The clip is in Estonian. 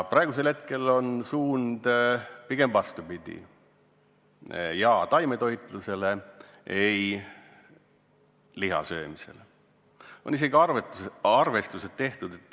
Praegu on suund pigem vastupidine: "jaa" taimetoitlusele, "ei" liha söömisele.